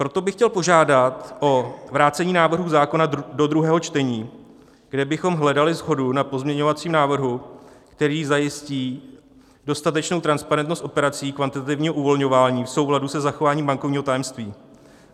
Proto bych chtěl požádat o vrácení návrhu zákona do druhého čtení, kde bychom hledali shodu na pozměňovacím návrhu, který zajistí dostatečnou transparentnost operací kvantitativního uvolňování v souladu se zachováním bankovního tajemství.